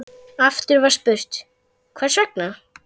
Aftur var spurt: Hvers vegna?